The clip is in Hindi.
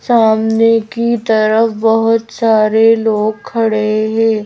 सामने की तरफ बहुत सारे लोग खड़े हैं।